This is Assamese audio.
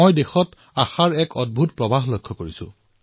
মই দেশত আশাৰ এক অদ্ভুত প্ৰৱাহ প্ৰত্যক্ষ কৰিছো